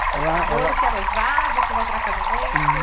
Ela, ela... namoro que é noivado, e que vai virar casamento?im, ela, ela...